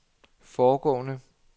foregående